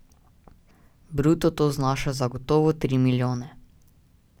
Bruto to znaša zagotovo tri milijone.